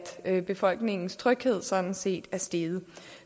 at befolkningens tryghed sådan set er steget